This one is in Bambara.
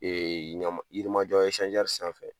ɲama yirimajɔ sanfɛ